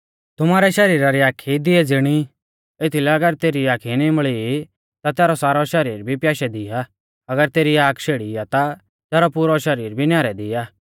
तुमारै शरीरा रौ दियौ आख आ एथीलै अगर तेरी आख नीम्बल़ी आ ता तैरौ सारौ शरीर भी प्याशै दी आ अगर तेरी आख शेड़ी आ ता तैरौ पुरौ शरीर भी न्यारे दी आ